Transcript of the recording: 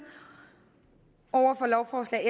over for lovforslag